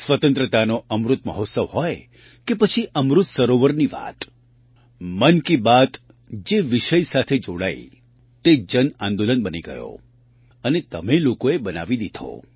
સ્વતંત્રતાનો અમૃત મહોત્સવ હોય કે પછી અમૃત સરોવરની વાત મન કી બાત જે વિષય સાથે જોડાઈ તે જન આંદોલન બની ગયો અને તમે લોકોએ બનાવી દીધો